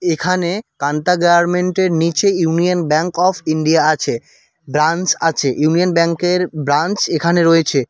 এখানে কান্তা গার্মেন্টের নিচে ইউনিয়ন ব্যাঙ্ক অফ ইন্ডিয়া আছে ব্রাঞ্চ আছে ইউনিয়ন ব্যাংকের ব্রাঞ্চ এখানে রয়েছে।